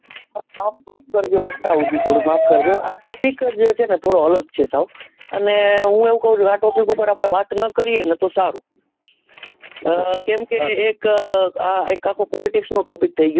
આપ માફ કરજો અટકાવું છુ થોડું અટકાવું છુ માફ કરજો આ topic જ છે ને થોડો અલગ છે સાહેબ અને હું એવું કવું છુ આ topic પર આપડે ના કરીએ તો સારું આહ કેમ એક અ આ એક આખો politics નો topic છે થઇ ગયો